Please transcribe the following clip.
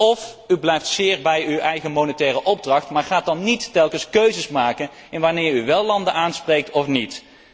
Of u blijft zeer bij uw eigen monetaire opdracht, maar gaat dan niet telkens keuzes maken in wanneer u wel landen aanspreekt of niet.